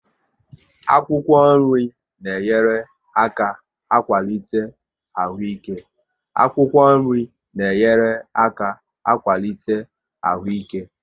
Akwụkwọ nri na enyere aka akwalite ahụ ike